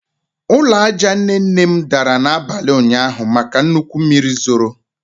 Ụlọ aja nne nne m dara n'abalị ụnyaahụ maka nnukwu mmiri zoro